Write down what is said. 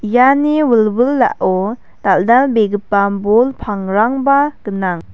iani wilwilao dal·dalbegipa bol pangrangba gnang.